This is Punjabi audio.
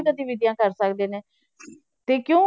ਗਤੀਵਿਧੀਆਂ ਕਰ ਸਕਦੇੇ ਨੇ ਤੇ ਕਿਉਂ